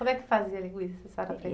Como é que fazia a linguiça, a senhora